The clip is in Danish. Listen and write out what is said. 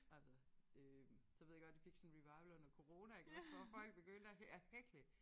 Altså øh så ved jeg godt det fik sådan en revival under corona iggås hvor folk begyndte at at hækle